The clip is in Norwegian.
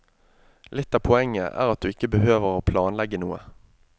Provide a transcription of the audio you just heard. Litt av poenget er at du ikke behøver å planlegge noe.